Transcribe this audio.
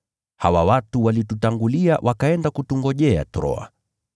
Hawa watu walitutangulia wakaenda kutungojea Troa.